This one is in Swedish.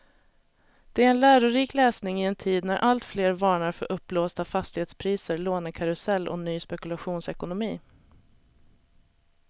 Det är en lärorik läsning i en tid när alltfler varnar för uppblåsta fastighetspriser, lånekarusell och ny spekulationsekonomi.